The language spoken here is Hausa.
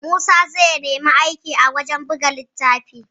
Musa zai nemi aiki a wajan buga littafi